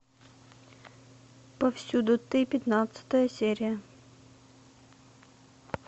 повсюду ты пятнадцатая серия